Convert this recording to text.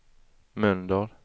Mölndal